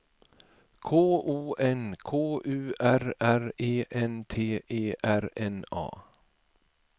K O N K U R R E N T E R N A